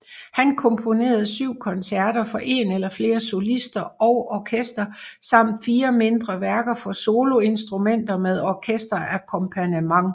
Han komponerede syv koncerter for en eller flere solister og orkester samt fire mindre værker for soloinstrumenter med orkesterakkompagnement